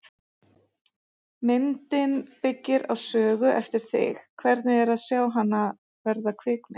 Myndin byggir á sögu eftir þig, hvernig er að sjá hana verða kvikmynd?